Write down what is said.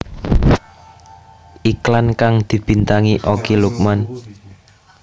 Iklan kang dibintangi Okky Lukman